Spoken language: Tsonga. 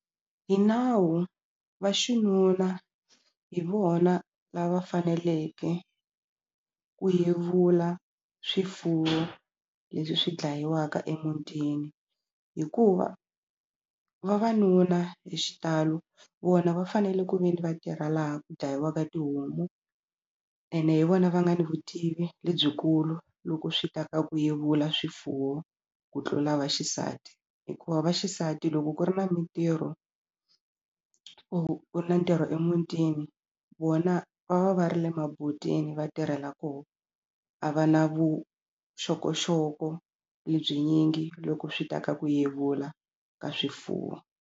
Hi nawu vaxinuna hi vona lava faneleke ku yevula swifuwo leswi swi dlayiwaka emutini hikuva vavanuna hi xitalo vona va fanele ku ve ni va tirha laha ku dlayiwaka tihomu ene hi vona va nga ni vutivi lebyikulu loko swi ta ka ku yevula swifuwo ku tlula vaxisati hikuva vaxisati loko ku ri na mintirho ku ri na ntirho emutini vona va va va ri le maboteni va tirhela koho a va na vuxokoxoko lebyi nyingi loko swi ta ka ku yevula ka swifuwo.